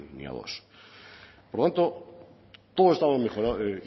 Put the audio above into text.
ni a dos por lo tanto todos estamos